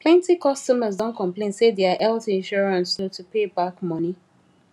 plenty customers don complain say their health insurance slow to pay back money